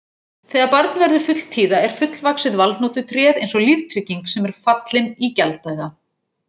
Þegar barn verður fulltíða er fullvaxið valhnotutréð eins og líftrygging sem er fallin í gjalddaga.